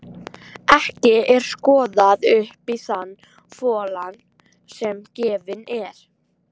Ekki er skoðað upp í þann folann sem gefinn er.